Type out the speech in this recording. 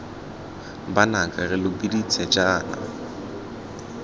banaka re lo biditse jaana